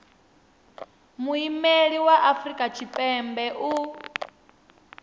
muimeli wa afrika tshipembe u